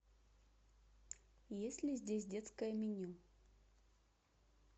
есть ли здесь детское меню